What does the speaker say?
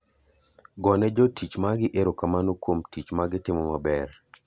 Gone jo tich magi ero kamano kuom tich ma gitimo maber.